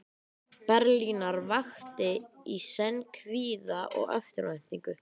Berlínar vakti í senn kvíða og eftirvæntingu.